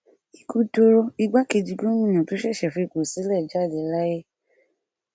ikú dọrọ igbákejì gomina tó ṣẹṣẹ fipò sílẹ jáde láyé